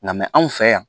Nka anw fɛ yan